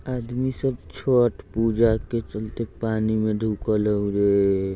आदमी सब छठ पूजा के चलते पानी में ढुकल हउ रे।